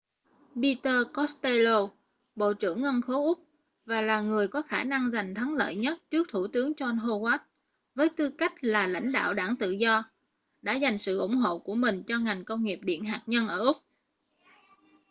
peter costello bộ trưởng ngân khố úc và là người có khả năng giành thắng lợi nhất trước thủ tướng john howard với tư cách là lãnh đạo đảng tự do đã dành sự ủng hộ của mình cho ngành công nghiệp điện hạt nhân ở úc